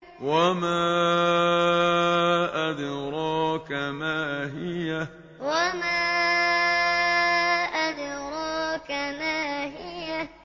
وَمَا أَدْرَاكَ مَا هِيَهْ وَمَا أَدْرَاكَ مَا هِيَهْ